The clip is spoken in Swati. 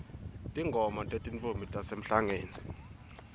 tingoma tetintfombi tasemhlangeni